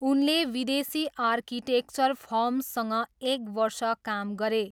उनले विदेशी आर्किटेक्चर फर्मसँग एक वर्ष काम गरे।